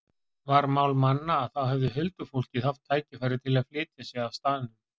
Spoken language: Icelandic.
Var mál manna að þá hefði huldufólkið haft tækifæri til að flytja sig af staðnum.